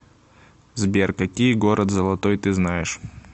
сбер какие город золотой ты знаешь